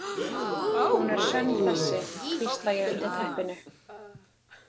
Hún er sönn þessi, hvísla ég undir teppinu.